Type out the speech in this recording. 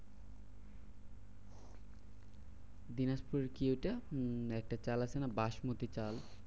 দিনাজপুরের কি ওইটা? উম একটা চাল আছে না বাসমতি চাল?